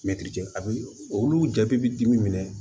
Mɛtiri jɛ a bɛ olu jaabi dimi minɛ